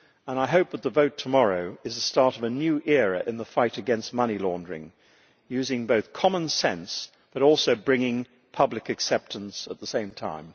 I hope that the vote tomorrow is the start of a new era in the fight against money laundering, using common sense, but also bringing public acceptance at the same time.